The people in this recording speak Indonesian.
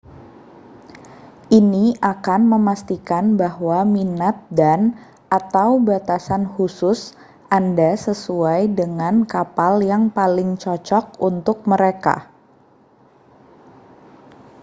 ini akan memastikan bahwa minat dan/atau batasan khusus anda sesuai dengan kapal yang paling cocok untuk mereka